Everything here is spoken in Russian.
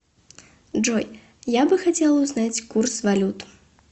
джой я бы хотела узнать курс валют